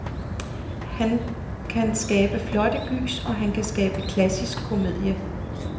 Han kan skabe flotte gys, og han kan skabe klassisk komedie.